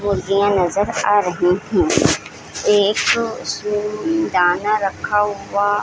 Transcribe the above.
मुर्गियाँ नजर आ रहे हैं एक दाना रखा हुआ --